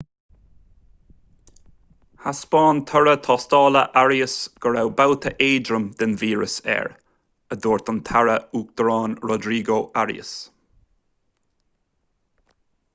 thaispeáin toradh tástála arias go raibh babhta éadrom den víreas air a dúirt an taire uachtaráin rodrigo arias